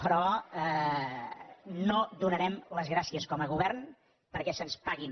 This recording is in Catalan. però no donarem les gràcies com a govern perquè se’ns paguin